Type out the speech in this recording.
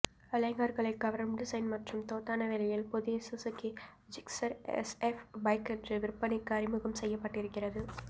இளைஞர்களை கவரும் டிசைன் மற்றும் தோதான விலையில் புதிய சுஸுகி ஜிக்ஸெர் எஸ்எஃப் பைக் இன்று விற்பனைக்கு அறிமுகம் செய்யப்பட்டிருக்கிறது